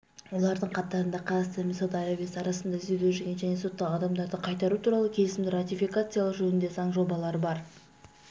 олардың қатарында қазақстан мен сауд арабиясы арасында іздеуде жүрген және сотталған адамдарды қайтару туралы келісімді ратификациялау жөніндегі заң жобалары бар